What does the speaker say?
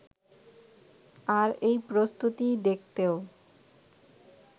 আর এই প্রস্তুতি দেখতেও